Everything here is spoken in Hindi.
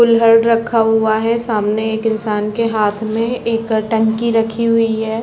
कुल्हड़ रखा हुआ है सामने एक इंसान के हाथ में एक टंकी रखी हुई है।